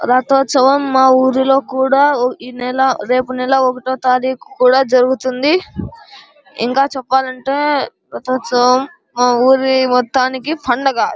రథ ఉత్సవం మా ఊరులో కూడా ఈ నెల రేప్ నెల ఒకొటొ తారీకు కూడా జరుగుతుంది ఇంకా చెప్పాల్నంటె రథ ఉత్సవం మా ఊరు మొత్తానికి పండగ --